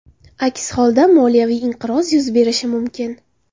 Aks holda moliyaviy inqiroz yuz berishi mumkin.